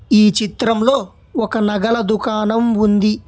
ఈ చిత్రంలో ఒక నగల దుకాణం ఉంది.